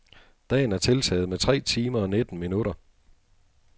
Dagen er tiltaget med tre timer og nitten minutter.